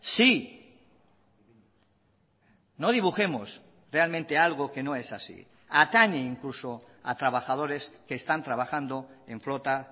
sí no dibujemos realmente algo que no es así atañe incluso a trabajadores que están trabajando en flota